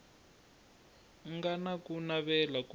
nga na ku navela ko